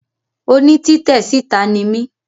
Oní títè síta ni mí